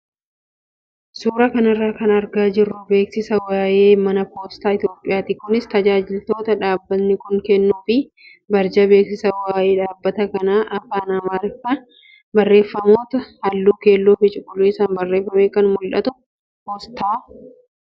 Suuraa kanarra kan argaa jirru beeksisa waayee mana poostaa Itoophiyaati. Kunis tajaajiloota dhaabbatni kun kennuu fi barjaa beeksisa waayee dhaabbata kanaa afaan amaariffaa barreeffamoota halluu keelloo fi cuquliisaan barreeffamee fi mallattoo poostaa jira.